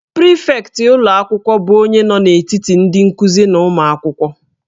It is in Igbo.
Prịfektị ụlọ akwụkwọ bụ onye nọ n'etiti ndị nkuzi na ụmụ akwụkwọ